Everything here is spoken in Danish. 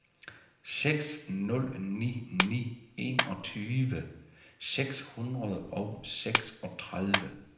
seks nul ni ni enogtyve seks hundrede og seksogtredive